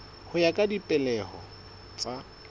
ho ya ka dipehelo tsa